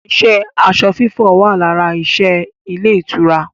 iṣẹ́ aṣọ fífọ̀ wà lára iṣẹ́ ilé ìtura